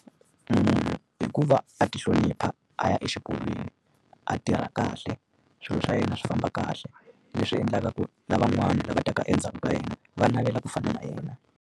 Munhu i ku va a tihlonipha a ya exikolweni, a tirha kahle, swilo swa yena swi famba kahle. Leswi endlaka ku lavan'wana lava taka endzhaku ka yena, va navela ku fana na yena.